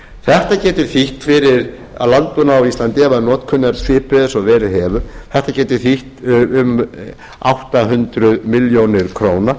þetta getur þýtt fyrir landbúnað á íslandi ef notkun er svipuð og verið hefur um átta hundruð milljóna króna